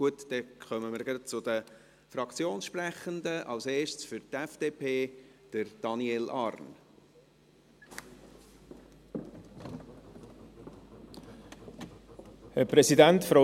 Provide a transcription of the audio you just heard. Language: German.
Gut, dann kommen wir gleich zu den Fraktionssprechenden, als erster Daniel Arn für die FDP.